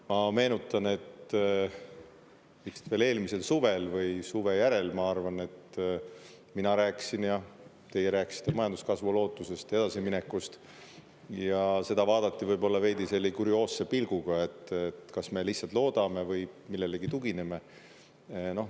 Ma meenutan, et veel eelmisel suvel või suve järel, ma arvan, mina rääkisin ja teie rääkisite majanduskasvu lootusest ja edasiminekust ja seda vaadati võib-olla veidi kurioosse pilguga, et kas me lihtsalt loodame või millelegi tugineme.